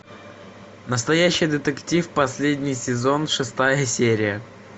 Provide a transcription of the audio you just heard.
настоящий детектив последний сезон шестая серия